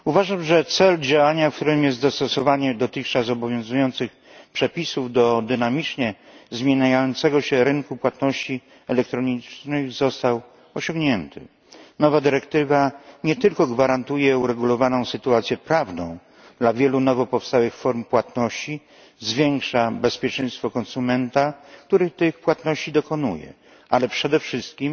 Pani Przewodnicząca! Uważam, że cel działania, którym jest dostosowanie dotychczas obowiązujących przepisów do dynamicznie zmieniającego się rynku płatności elektronicznych, został osiągnięty. Nowa dyrektywa nie tylko gwarantuje uregulowaną sytuację prawną dla wielu nowo powstałych form płatności, zwiększa bezpieczeństwo konsumenta, który tych płatności dokonuje, ale przede wszystkim